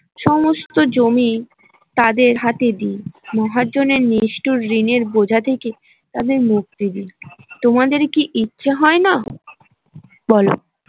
সমস্ত জমি তাদের হাতে দিই মহাজনের নিষ্ঠর ঋণের বোঝা থেকে তাদের মুক্তি দিই তোমাদের কি ইচ্ছে হয় না বলো